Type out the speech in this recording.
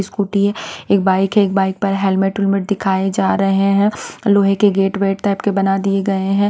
Scooty है एक bike है एक बाइक पर हेलमेट हुलमट दिखाए जा रहे हैं लोहे के गेट वेट टाइप के बना दिए गए हैं।